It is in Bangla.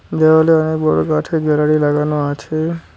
দেওয়ালে অনেক বড়ো কাঠের গ্যালারি লাগানো আছে।